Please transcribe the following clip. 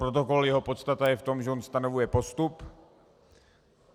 Protokol, jeho podstata je v tom, že on stanovuje postup.